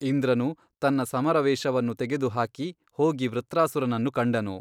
ಇಂದ್ರನು ತನ್ನ ಸಮರವೇಷವನ್ನು ತೆಗೆದು ಹಾಕಿ ಹೋಗಿ ವೃತ್ರಾಸುರನನ್ನು ಕಂಡನು.